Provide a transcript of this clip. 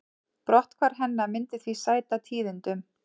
Brotthvarf hennar myndi því sæta tíðindum